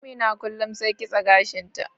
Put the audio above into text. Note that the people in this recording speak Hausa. Amina kullum sai kitse gashin ta.